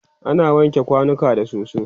ana wanke kwanuka da soso